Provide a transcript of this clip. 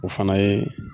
O fana ye